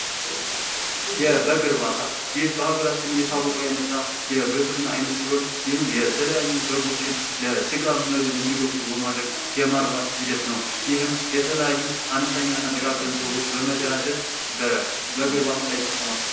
የበግ እርባታ ፦ ይህ በሀገራችን እየታወቀ የመጣ የግብርና አይነት ሲሆን ይህም የተለያዩ በጎችን ለስጋ መብል እንዲበቁ በማድረግ የማርባት ሂደት ነው ። ይህም የተለያዩ አነስተኛና ጥቃቅን ሰዎች በመደራጀት በበግ እርባታ ላይ ተሰማርተዋል ።